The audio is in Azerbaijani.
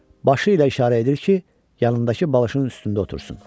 Başı ilə işarə edir ki, yanındakı balışın üstündə otursun.